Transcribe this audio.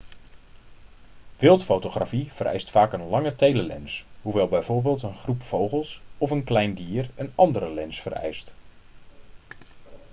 wildfotografie vereist vaak een lange telelens hoewel bijvoorbeeld een groep vogels of een klein dier een andere lens vereist